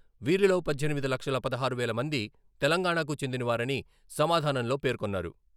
వీరిలో పద్దెనిమిది లక్షల పదహారు వేల మంది తెలంగాణాకు చెందినవారని సమాధానంలో పేర్కొన్నారు.